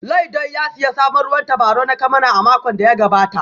Laidoi ya sayi sabon ruwan tabarau na kyamara a makon da ya gabata